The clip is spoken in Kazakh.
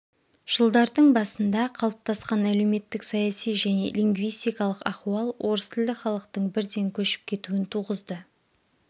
жылдардың басында қалыптасқан әлеуметтік-саяси және лингвистикалық ахуал орыс тілді халықтың бірден көшіп кетуін туғызды